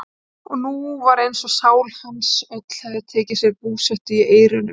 Og nú var eins og sál hans öll hefði tekið sér búsetu í eyrunum.